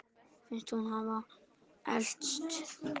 Finnst hún hafa elst.